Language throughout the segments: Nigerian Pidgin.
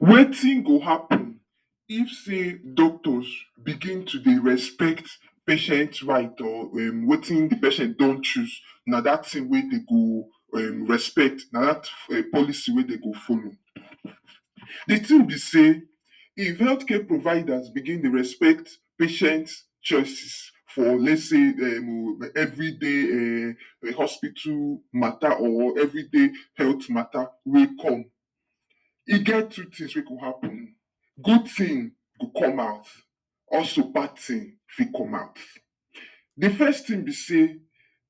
Wetin go happen if say doctors begin to dey respect patient right or em wetin di patient don choose na dat tin wey dem go respect na dat policy wey dem go follow. Di tin be say if health care providers begin dey respect patients choices for lets say um, evri day um di hospital mata or evri day health mata wey come. E get two tins wey go happen good tin go come out also bad tin fit come out. Di first tin be say,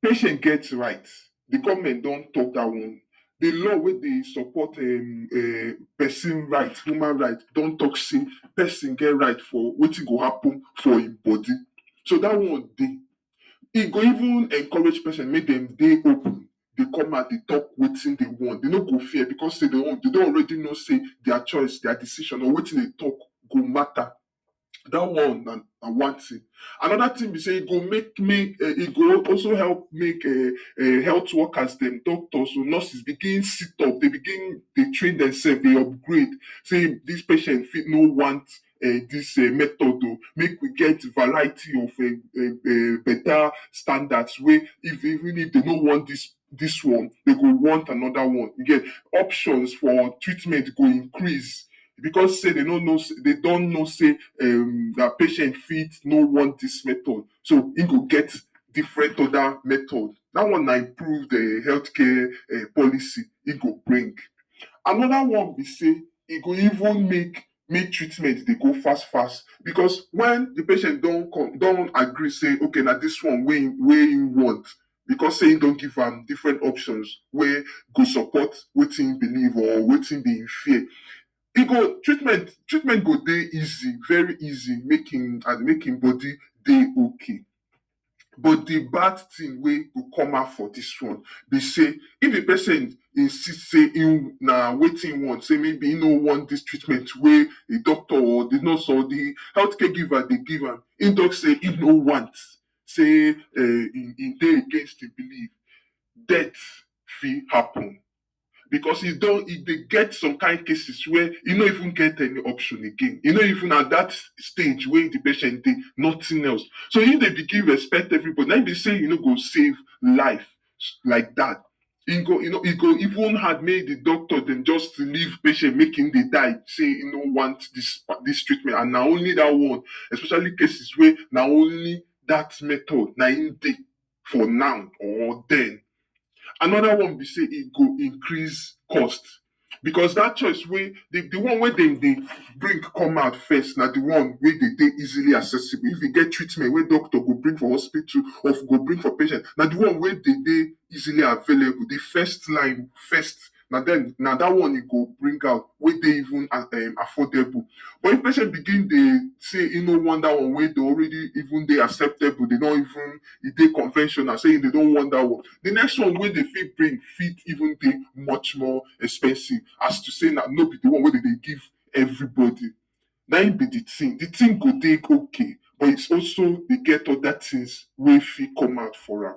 patient get right di govment don tok dat one di law wey dey support, um, pesin right, human right pesin get right for wetin go happun for im body so dat one dey e go even encourage pesin make dem dey open dey come out dey tok wetin dem want dem no go fear bicos dem don alredy know say dia choice or dia decision or wetin dem tok go mata. dat one na one tin anoda tin be say e go make e go also help make um health workers dem doctors dem, nurses dem begin sit up dey begin, dey train dem sef ey upgrade tin dis patient fit no want em dis em method o make we get variety of um betta standard wey even if dem no wan dis dis one dem go wan anoda one, you geh options for treatment go increase bicos say dem no know say, dem don know say em dia patient fit no want dis method so, im go get different oda method dat one na improve em health care em policy e go bring. Anoda one be say e go even make make treatment dey go fas fas bicos wen di patient don come don agree say ok na dis one wey im want bicos say im don give am different options wey go support wetin be im believe or wetin be im ddey fear e go, treatmet, treatment go dey easy very easy make im make im body dey ok but di bad tin wey wey go come out for dis one be say if di patient insist say im na wetin im want say maybe im no wan dis treatment wey di doctors or nurses or di health care giver dey give am im tok say im no want say, em e dey im best believe death fit happun bicos e dey get some kind case wey you no even get any options again, you no even at dat stage wey di patient dey, nothing else, so if dem begin respect evribody na im be say you go save life like dat e go e go even hard wey mey di doctors dem just dey leave patient make im begin dey die say im no want dis treatment and na only dat one especially cases wey na only dat method na im dey for now or den. Anoda one be say e go increase cost bicos dat choice wey di one wet dem dey bring come out first na di one wey dey dey easily accessible if e get treatment wey doctor go bring for hospital, go bring for patient na di one wey dey dey easily available di first line first na den na dat one e go bring out wey dey even affordable but if patient begin dey say im no want dat one wey dey already even dey acceptable dem don even e dey conventional say dem no want dat one di next one wey dem fit bring fit even dey much more expensive as to say na nobi di one wey dem dey give evribody na im be di tin di tin go dey ok but e also dey geh oda tins wey fit come out from am.